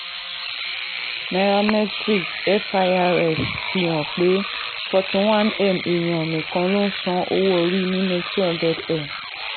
nairametrics: firs fihàn pé forty one èèyàn nìkan ló ló san owó orí nínú two hundred m.